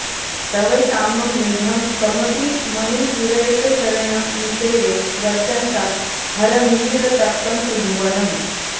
तव श्यामं मेघं कमपि मणिपूरैकशरणं निषेवे वर्षन्तं हरमिहिरतप्तं त्रिभुवनम्